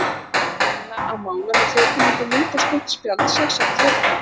Stína að mála með þekjulitum mynd á stórt spjald, sex ára fjörkálfur.